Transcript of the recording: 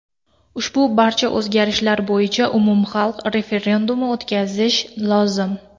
Ushbu barcha o‘zgartishlar bo‘yicha umumxalq referendumi o‘tkazish lozim.